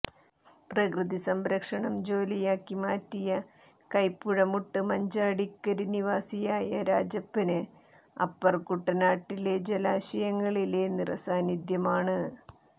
പ്രകൃതി സംരക്ഷണം ജോലിയാക്കി മാറ്റിയ കൈപ്പുഴമുട്ട് മഞ്ചാടിക്കരി നിവാസിയായ രാജപ്പന് അപ്പര്കുട്ടനാട്ടിലെ ജലാശയങ്ങളിലെ നിറസാന്നിദ്ധ്യമാണ്